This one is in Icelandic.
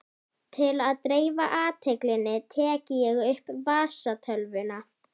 Til að dreifa athyglinni tek ég upp vasatölvuna.